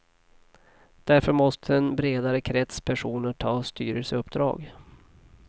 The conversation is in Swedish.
Därför måste en bredare krets personer ta styrelseuppdrag.